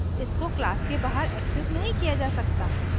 इसको class के बाहर accessed नहीं किया जा सकता